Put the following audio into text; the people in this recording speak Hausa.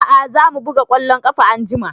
A'a za mu buga ƙwallon ƙafa anjima